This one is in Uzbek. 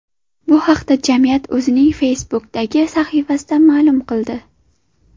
Bu haqda jamiyat o‘zining Facebook’dagi sahifasida ma’lum qildi .